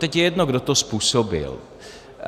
Doteď je jedno, kdo to způsobil.